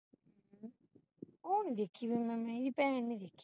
ਔਰ ਨਹੀਂ ਦੇਖੀ ਫੇਰ ਮੈਂ ਇਹਦੀ ਭੈਣ ਨਹੀਂ ਦੇਖੀ